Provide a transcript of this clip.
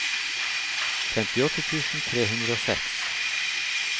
femtiåtte tusen tre hundre og seks